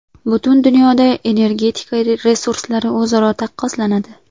Butun dunyoda energetika resurslari o‘zaro taqqoslanadi.